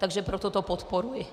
Takže proto to podporuji.